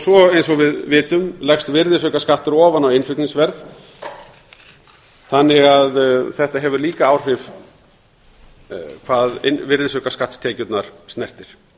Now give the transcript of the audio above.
svo eins og við vitum leggst virðisaukaskattur ofan á innflutningsverðið þannig að þetta hefur líka áhrif hvað virðisaukaskattstekjurnar snertir